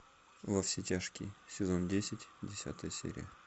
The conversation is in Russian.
во все тяжкие сезон десять десятая серия